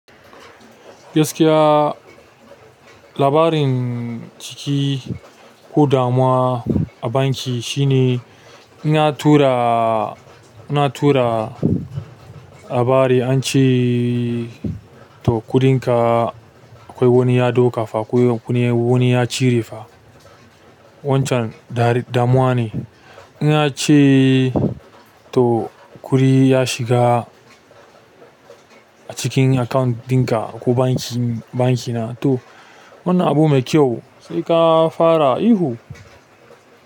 Gaskiya labarin ciki ko damuwa a banki shi ne in an tura, in an tura. Labari an ce to kuɗinka akwai wani ya ɗauka fa ko wani ya cire fa. Wancan damuwa ne. In a ce to kuɗi ya shiga a cikin account ɗinka ko banki, bankina to wannan abu mai kyau sai ka fara ihu.